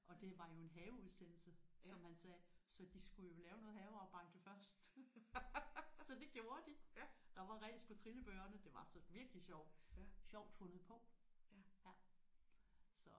Ja ja og det var jo en haveudsendelse som han sagde så de skulle jo lave noget havearbejde først. Så det gjorde de. Der var ræs på trillebørene. Det var så virkelig sjovt. Sjovt fundet på